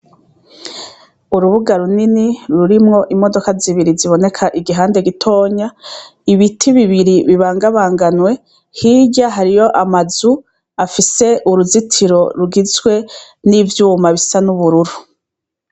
Urubuga runini rurimwo imodoka zibiri ziboneka igihande gitonya, ibiti bibiri bibangabanganwe, hirya hariyo amazu agise uruzitiro rugizwe n' ivyuma bisa n' ubururu.